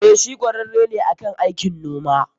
Eh, shi kwararre ne akan aikin noma.